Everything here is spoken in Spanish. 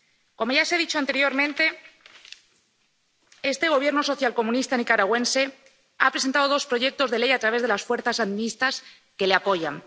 Como ya se ha dicho anteriormente, este Gobierno socialcomunista nicaragüense ha presentado dos proyectos de ley a través de las fuerzas sandinistas, que le apoyan.